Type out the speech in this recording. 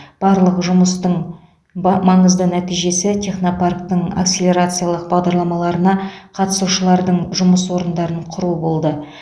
барлық жұмыстың ба маңызды нәтижесі технопарктің акселерациялық бағдарламаларына қатысушылардың жұмыс орындарын құруы болды